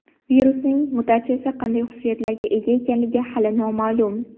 Virusning mutatsiyasi qanday xususiyatlarga ega ekani hali noma’lum.